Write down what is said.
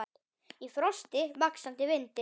Í frosti, vaxandi vindi.